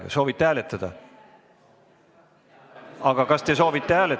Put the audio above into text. Kas te soovite hääletada?